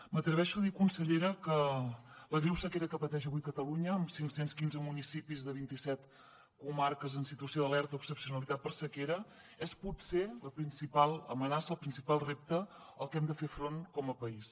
m’atreveixo a dir consellera que la greu sequera que pateix avui catalunya amb cinc cents i quinze municipis de vint i set comarques en situació d’alerta o excepcionalitat per sequera és potser la principal amenaça el principal repte al que hem de fer front com a país